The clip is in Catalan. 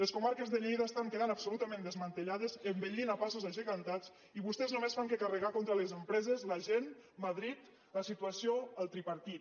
les comarques de lleida estan quedant absolutament desmantellades envellint a passos agegantats i vostès només fan que carregar contra les empreses la gent madrid la situació el tripartit